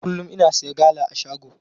Kullum ina siya gala a shago.